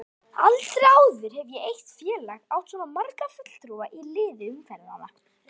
Aldrei áður hefur eitt félag átt svo marga fulltrúa í liði umferðanna.